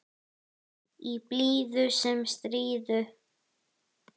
Í blíðu sem stríðu.